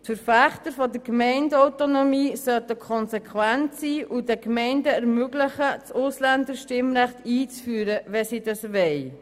Die Verfechter der Gemeindeautonomie sollten konsequent sein und den Gemeinden ermöglichen, das Ausländerstimmrecht einzuführen, wenn diese es wollen.